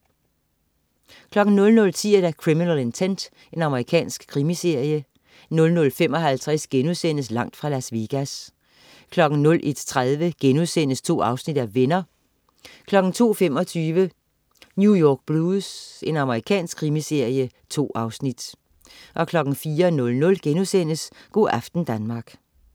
00.10 Criminal Intent. Amerikansk krimiserie 00.55 Langt fra Las Vegas* 01.30 Venner.* 2 afsnit 02.25 New York Blues. Amerikansk krimiserie. 2 afsnit 04.00 Go' aften Danmark*